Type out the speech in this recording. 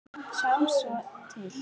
Sjáum svo til.